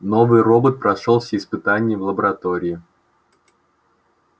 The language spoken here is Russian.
новый робот прошёл все испытания в лаборатории